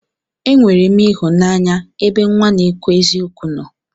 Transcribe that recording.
Enwerem ihụnanya ebe nwa n'ekwu eziokwu nno.